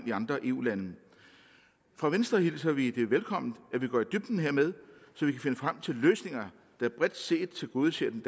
i andre eu lande fra venstre hilser vi det velkommen at vi går i dybden hermed så vi kan finde frem til løsninger der bredt set tilgodeser den